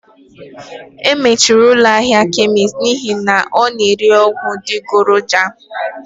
E mechiri ụlọ ahịa kemist n'ihi na ọ na-ere ọgwụ adịgboroja